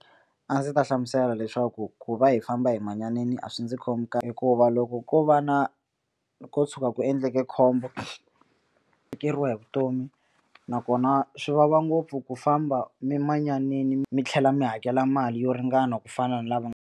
A ndzi ta hlamusela leswaku ku va hi famba hi manyaneni a swi ndzi khomi kahle hikuva loko ko va na ko tshuka ku endleke khombo tekeriwa hi vutomi nakona swi vava ngopfu ku famba mi manyanini mi tlhela mi hakela mali yo ringana ku fana na lava.